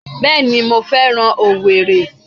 Bẹẹni, mo féràn owerri